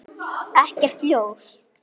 Ekkert ljós.